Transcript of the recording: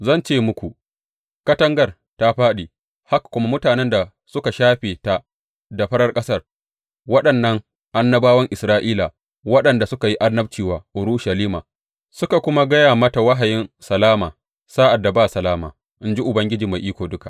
Zan ce muku, Katangar ta fāɗi haka kuma mutanen da suka shafe ta da farar ƙasa, waɗannan annabawan Isra’ila waɗanda suka yi annabci wa Urushalima suka kuma ga mata wahayin salama sa’ad da ba salama, in ji Ubangiji Mai Iko Duka.